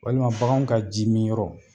Walima bakanw ka ji mi yɔrɔ